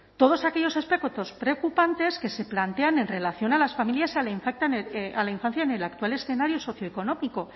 todos aquellos aspectos preocupantes que se plantean en relación a las familias y a la infancia en el actual escenario socioeconómico